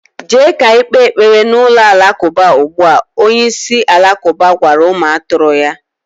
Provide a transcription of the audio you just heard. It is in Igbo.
Jee ka ikpe ekpere na ulo-Alakauba ugbua, Onye isi Alakuba gwara umu aturu ya.